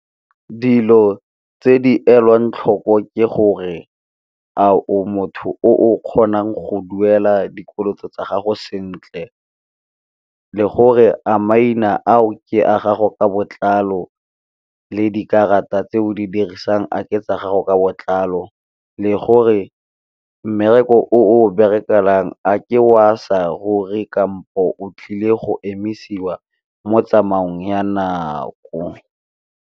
Dilo tse di elwang tlhoko ke gore a o motho o kgonang go duela dikoloto tsa gago sentle, le gore a maina ao ke a gago ka botlalo le dikarata tse o di dirisang a ke tsa gago ka botlalo, le gore mmereko o of berekelang a ke wa sa ruri kampo o tlile go emisiwa mo tsamaong ya nako.